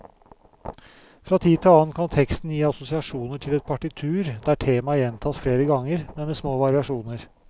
Fra tid til annen kan teksten gi assosiasjoner til et partitur der temaer gjentas flere ganger, men med små variasjoner.